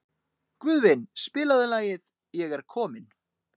Guðvin, spilaðu lagið „Ég er kominn“.